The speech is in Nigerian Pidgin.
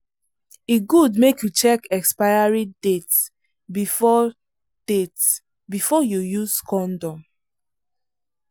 e good make you check expiry date before date before you use condom.